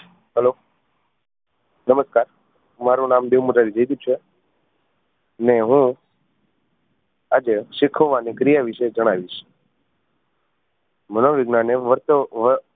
Hello નમસ્કાર મારુ નામ દેવ મોરારી જયદીપ છે ને હું આજે શિખવવાની ક્રિયા વિષે જણાવીશ મનોવિજ્ઞાન એ વર્ત વ